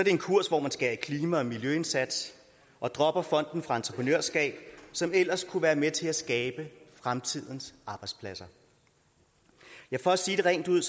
en kurs hvor man skærer i klima og miljøindsatsen og dropper fonden for entreprenørskab som ellers kunne have været med til at skabe fremtidens arbejdspladser ja for at sige det rent ud